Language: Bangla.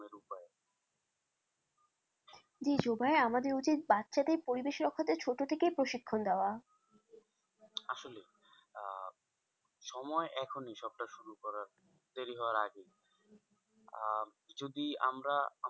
দিয়ে জুবাই আমাদের উচিত বাচ্ছাদের পরিবেশ রক্ষার্থে ছোট থেকেই প্রশিক্ষণ দেওয়া আসলেই আহ সময় এখনই সবটা শুরু করার দেরি হওয়ার আগেই আহ যদি আমরা আমাদের